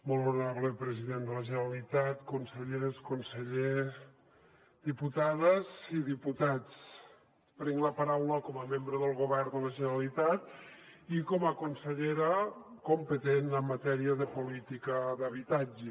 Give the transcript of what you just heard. molt honorable president de la generalitat conselleres consellers diputades i diputats prenc la paraula com a membre del govern de la generalitat i com a consellera competent en matèria de política d’habitatge